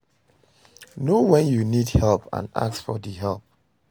Know when you need help and ask for di help